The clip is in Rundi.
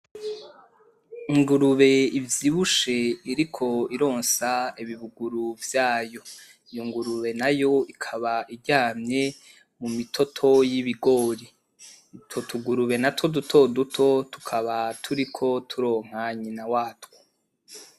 Ingurube ivyibushe iriko ironsa ibibuguru vyayo, iyo ngurube nayo ikaba iryamye mu bitoto y'ibigori, utwo tugurube natwo dutoduto tukaba turiko turonka nyina watwo.